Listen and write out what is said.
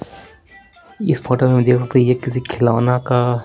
इस फोटो में देख सकते हैं ये किसी खिलौना का--